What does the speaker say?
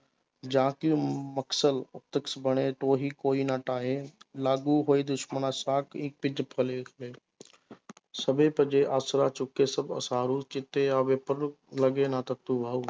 ਜਾਂ ਕਿ ਮਕਸਦ ਕੋਈ ਨਾ ਢਾਹੇ ਲਾਗੂ ਹੋਏ ਦੁਸ਼ਮਣਾ ਸ਼ਾਕ ਆਸਰਾ ਚੁੱਕੇ ਸਭ ਚਿੱਤ ਆਵੈ ਲਗੈ ਨਾ ਤੱਤੀ ਵਾਓ।